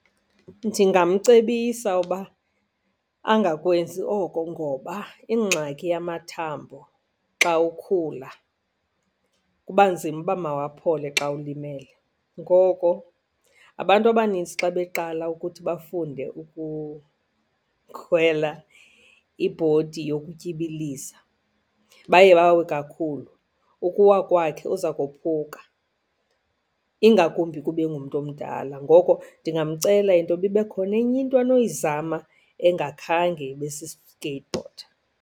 Ndingamcebisa uba angakwenzi oko ngoba ingxaki yamamathambo xa ukhula kuba nzima uba mawaphole xa ulimele. Ngoko abantu abanintsi xa beqala ukuthi bafunde ukukhwela ibhodi yokutyibiliza, baye bawe kakhulu. Ukuwa kwakhe uza kophuka, ingakumbi kuba engumntu omdala. Ngoko ndingamcela intoba ibe khona enye into anoyizama engakhange ibe si-skateboard.